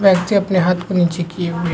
व्यक्ति अपने हाथ को नीचे किये हुए --